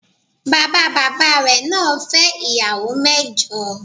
Bàbá bàbá rẹ̀ naa fẹ́ ìyàwó mẹ́jọ